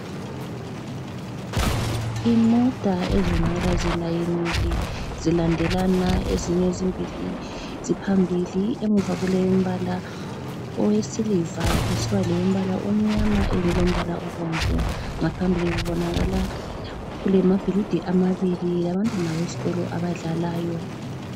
Imota ezibonakala zilayinile zilandelana ezinye ezimbili ziphambili emuva kuleyombala owesiliva kusiba lelombala omnyama eyinye ilombala obomvu. Ngaphambili kubonakala kulamabhilidi amabili labantwana besikolo abadlalayo.